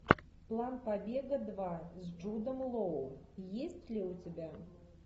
план побега два с джудом лоу есть ли у тебя